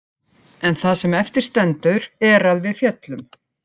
En það sem eftir stendur er að við féllum.